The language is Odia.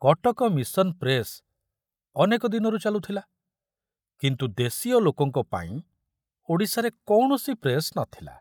କଟକ ମିଶନ ପ୍ରେସ ଅନେକ ଦିନରୁ ଚାଲୁଥିଲା, କିନ୍ତୁ ଦେଶୀୟ ଲୋକଙ୍କ ପାଇଁ ଓଡ଼ିଶାରେ କୌଣସି ପ୍ରେସ ନ ଥିଲା।